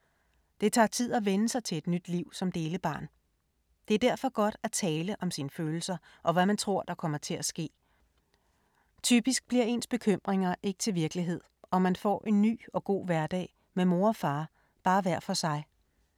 Det tager tid at vænne sig til et nyt liv som delebarn. Det er derfor godt at tale om sine følelser og hvad man tror, der kommer til at ske. Typisk bliver ens bekymringer ikke til virkelighed, og man får en ny og god hverdag med mor og far, bare hver for sig.